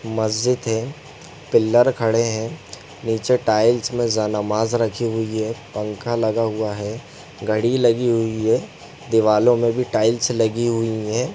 मस्जिद है पिलर खड़े है नीचे टाइल्स में नमाज रखी हुई है पंखा लगा हुआ है घड़ी लगी हुई है दिवालो में भी टाइल्स लगी हुई है।